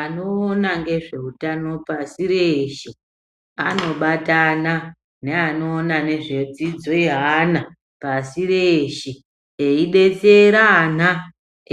Anoona ngezveutano pashi reshe anobatana neanoona nezvedzidzo yeana pasi reshe eidetsera ana